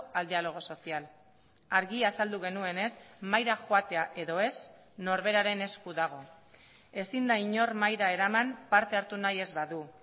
al diálogo social argi azaldu genuenez mahaira joatea edo ez norberaren esku dago ezin da inor mahaira eraman parte hartu nahi ez badu